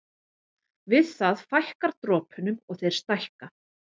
Við það fækkar dropunum og þeir stækka.